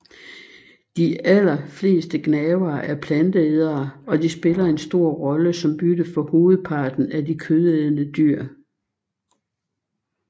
De aller fleste gnavere er planteædere og de spiller en stor rolle som bytte for hovedparten af de kødædende dyr